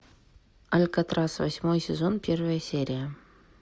алькатрас восьмой сезон первая серия